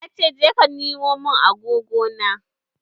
Ya ce 'Je ka nemo mun agogona'!